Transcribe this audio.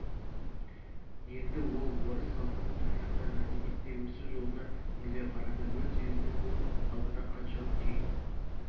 енді ол орыс халқының тарихына мәдениетіне өсу жолына үңіле қарады өз елінің бұл халықтан қаншалық кейін